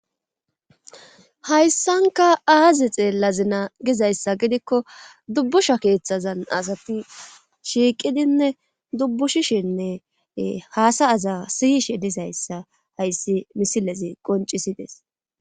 Hayssanka aaze xeella zina gizayssa gidikko dubbusha keeththazan asati shiiqidinne dubbushishinne haasa aza siyishe disayssa hayssi misilezi qoncisides.